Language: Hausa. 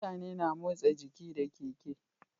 Mutane na motsa jiki da keke